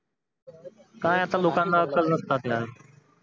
काय आता लोकानां अक्कल नसतात